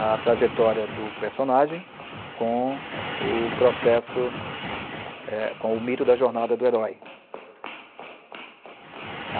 a trajetória do personagem com o processo, eh, com o mito da jornada do herói.